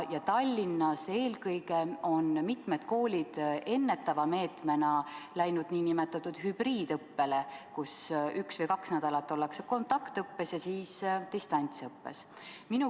Eelkõige just Tallinas on mitmed koolid ennetava meetmena läinud nn hübriidõppele, kus üks või kaks nädalat ollakse kontaktõppes ja siis distantsõppes.